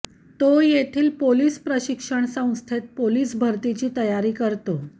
तो येथील पोलीस प्रशिक्षण संस्थेत पोलीस भरतीची तयारी करतो